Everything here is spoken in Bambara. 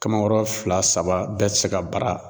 Kamakɔrɔ fila saba bɛɛ tɛ se ka bara